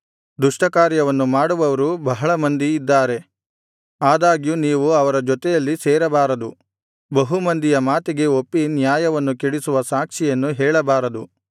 ದುಷ್ಟ ಕಾರ್ಯವನ್ನು ಮಾಡುವವರು ಬಹಳಮಂದಿ ಇದ್ದಾರೆ ಆದಾಗ್ಯೂ ನೀವು ಅವರ ಜೊತೆಯಲ್ಲಿ ಸೇರಬಾರದು ಬಹು ಮಂದಿಯ ಮಾತಿಗೆ ಒಪ್ಪಿ ನ್ಯಾಯವನ್ನು ಕೆಡಿಸುವ ಸಾಕ್ಷಿಯನ್ನು ಹೇಳಬಾರದು